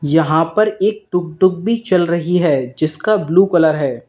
यहां पर एक टुकटुक भी चल रही है जिसका ब्लू कलर है।